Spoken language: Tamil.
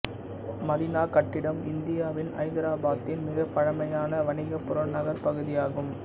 மதீனா கட்டிடம் இந்தியாவின் ஐதராபாத்தின் மிகப் பழமையான வணிக புறநகர்ப் பகுதியாகும்